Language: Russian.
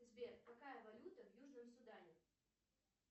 сбер какая валюта в южном судане